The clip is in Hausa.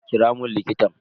Kira mun likitan.